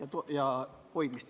Aitäh!